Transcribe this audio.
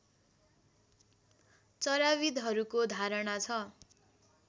चराविद्हरूको धारणा छ